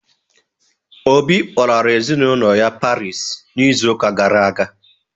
Obi kpọlara ezinaụlọ ya Parii n'izu ụka gara aga.